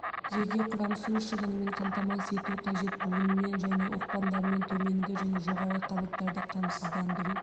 жеке құрам су шығынымен қамтамасыз ету қажет буынымен және оқпандарымен төменгі және жоғарғы қабаттарды қамсыздандыру